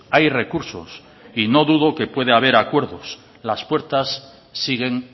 hay recursos y no dudo que puede haber acuerdos las puertas siguen